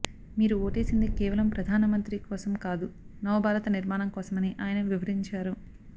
మీరు ఓటేసింది కేవలం ప్రధానమంత్రి కోసం కాదు నవ భారత నిర్మాణం కోసమని ఆయన వివరించారు